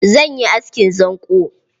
Zan yi askin zanƙo.